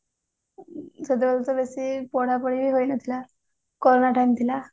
ସେତେବେଳେ ତ ବେଶୀ ପଢା ପଢି ବି ହେଇ ନଥିଲା corona time ଥିଲା